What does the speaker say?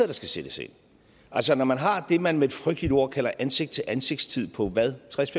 der skal sættes ind altså når man har det man med et frygteligt ord kalder ansigt til ansigt tid på hvad tres